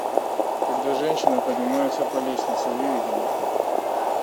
когда женщина поднимается по лестнице выведи мне